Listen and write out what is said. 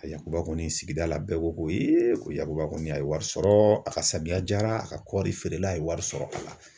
A yakuba kɔni sigida la bɛɛ ko ko ee ko yakuba kɔni a ye wari sɔrɔ a ka samiya jara a ka kɔɔri feerela ye wari sɔrɔ a la.